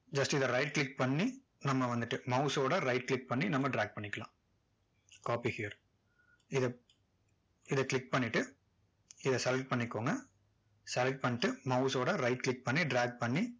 just இதை right click பண்ணி நம்ம வந்துட்டு mouse ஓட right click பண்ணி நம்ம drag பண்ணிக்கலாம் copy here இதை இதை click பண்ணிட்டு இதை select பண்ணிக்கோங்க select பண்ணிட்டு mouse ஓட right click பண்ணி drag பண்ணி